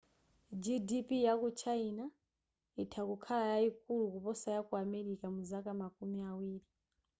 gdp yaku china itha kukhala yayikulu kuposa yaku america muzaka makumi awiri